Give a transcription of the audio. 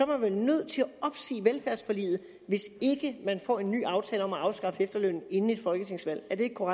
man vel nødt til at opsige velfærdsforliget hvis ikke man får en ny aftale om at afskaffe efterlønnen inden et folketingsvalg